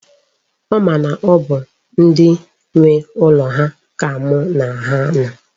Ọ ma na ọ bụ ndi nwe ụlọ ha ka mu na ha no.